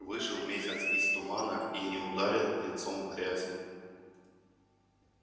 вышел месяц из тумана и не ударил лицом в грязь